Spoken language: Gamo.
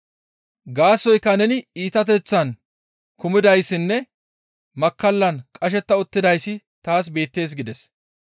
Gaasoykka neni iitateththan kumidayssinne makkallan qashetta uttidayssi taas beettees» gides.